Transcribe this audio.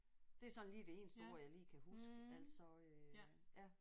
Det er sådan lige det eneste ord jeg lige kan huske altså øh ja